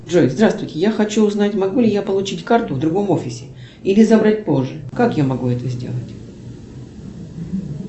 джой здравствуйте я хочу узнать могу ли я получить карту в другом офисе или забрать позже как я могу это сделать